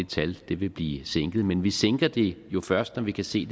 tal vil vil blive sænket men vi sænker det jo først når vi kan se